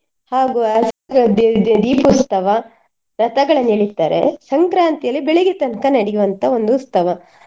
ಹಾಗು ದೀಪೋತ್ಸವ ರಥಗಳ ಮೇಲೆ ಇಡ್ತಾರೆ. ಸಂಕ್ರಾಂತಿಯಲ್ಲಿ ಬೆಳಿಗ್ಗೆ ತನ್ಕ ನಡಿಯುವಂತ ಒಂದು ಉತ್ಸವ.